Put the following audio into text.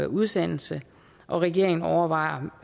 udsendelse og regeringen overvejer